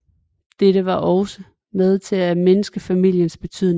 Dette var også med til at mindske familiens betydning